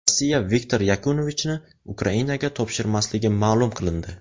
Rossiya Viktor Yanukovichni Ukrainaga topshirmasligi ma’lum qilindi.